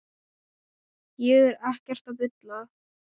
Ég er ekkert að bulla.